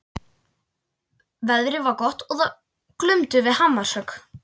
Veðrið var gott og það glumdu við hamarshögg.